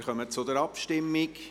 Wir kommen zur Abstimmung.